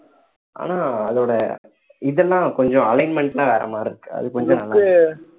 ஆனா அதோட இதெல்லாம் கொஞ்சம் alignment எல்லாம் வேற மாதிரி இருக்கு அது கொஞ்சம் நல்லா